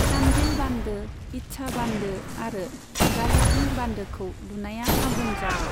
चान्डिल बान्दो, इच्छा बान्दो आरो गालुडिह बान्दोखौ लुनाया आबुं जाबाय।